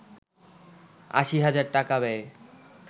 ৮০ হাজার টাকা ব্যয়ে